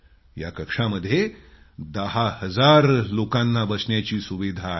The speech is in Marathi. या कक्षामध्ये दहा हजार लोकांना बसण्याची सुविधा आहे